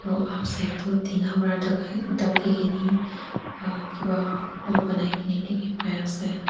tina para daki kena kiba bonai kena dekhi pai ase.